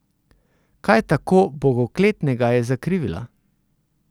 Kaj tako bogokletnega je zakrivila?